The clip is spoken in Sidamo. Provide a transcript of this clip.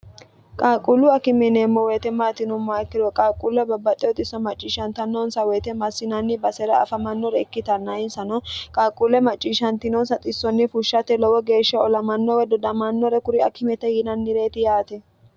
qaaqquullu akimeneemmo woyite maatinumma ikkirure qaaqquulle babbaxxe oxisso macciishshantannoonsa woyite massinanni basera afamannore ikkitanna insano qaaqquulle macciishshantinonsa xissonni fushshate lowo geeshsha olamanno we dodamannore kuri akimete yiinannireeti yaate